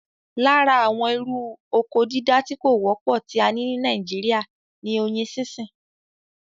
Lára àwọn irú oko dídá tí kò wọ́pọ̀ tí a ní ní nàìjíría ní oyin sínsìn